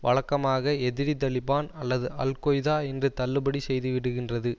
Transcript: வழக்கமாக எதிரி தலிபான் அல்லது அல் கொய்தா என்று தள்ளுபடி செய்து விடுகின்றது